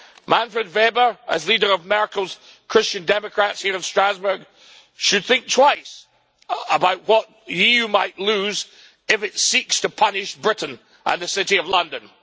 Manfred Weber, as leader of Merkel's Christian Democrats here in Strasbourg, should think twice about what the EU might lose if it seeks to punish Britain and the city of London.